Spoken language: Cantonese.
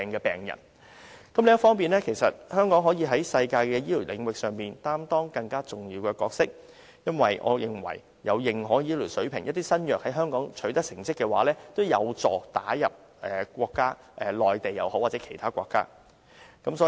另一方面，香港可以在世界的醫療領域上擔當更重要的角色，因為我認為新藥在有世界認可醫療水平的香港取得成績，也有助藥物打入不論是內地或其他國家的市場。